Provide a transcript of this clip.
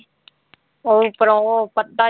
ਉਹ ਉਪਰੋਂ ਉਹ ਪੱਤਾ ਜਿਹਾ